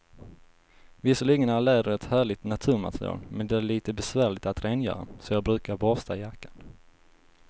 Visserligen är läder ett härligt naturmaterial, men det är lite besvärligt att rengöra, så jag brukar borsta jackan.